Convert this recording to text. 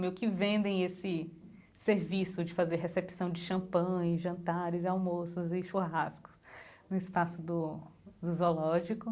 Meio que vendem esse serviço de fazer recepção de champanhes, jantares, almoços e churrasco no espaço do do zoológico.